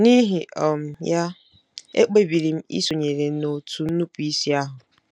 N’ụihi um ya, ekpebiri m isonyere òtù nnupụisi ahụ.